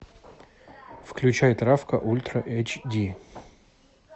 включай травка ультра эйч ди